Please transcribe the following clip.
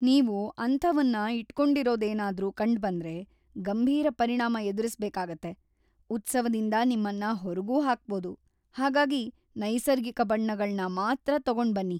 ನೀವು ಅಂಥವನ್ನ ಇಟ್ಕೊಂಡಿರೋದೇನಾದ್ರೂ ಕಂಡ್ಬಂದ್ರೆ, ಗಂಭೀರ ಪರಿಣಾಮ ಎದುರಿಸ್ಬೇಕಾಗತ್ತೆ, ಉತ್ಸವದಿಂದ ನಿಮ್ಮನ್ನ ಹೊರಗೂ ಹಾಕ್ಬೋದು, ಹಾಗಾಗಿ ನೈಸರ್ಗಿಕ ಬಣ್ಣಗಳ್ನ ಮಾತ್ರ ತಗೊಂಡ್ಬನ್ನಿ!